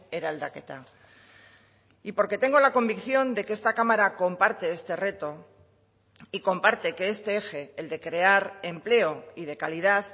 eraldaketa y porque tengo la convicción de que esta cámara comparte este reto y comparte que este eje el de crear empleo y de calidad